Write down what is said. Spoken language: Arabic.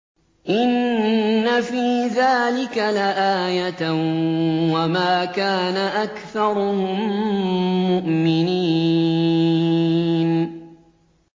إِنَّ فِي ذَٰلِكَ لَآيَةً ۖ وَمَا كَانَ أَكْثَرُهُم مُّؤْمِنِينَ